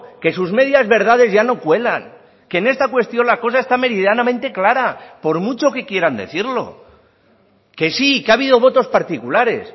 que sus medias verdades ya no cuelan que en esta cuestión la cosa está meridianamente clara por mucho que quieran decirlo que sí que ha habido votos particulares